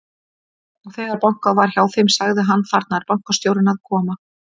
Og þegar bankað var hjá þeim, sagði hann: Þarna er bankastjórinn að koma.